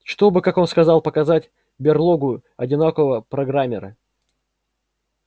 чтобы как он сказал показать берлогу одинокого программера